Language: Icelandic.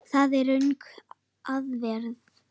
Það er röng aðferð.